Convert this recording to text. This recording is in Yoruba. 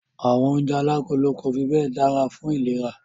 Àwọn oúnjẹ alágolo kò fi bẹ́ẹ̀ dára fún ìlera.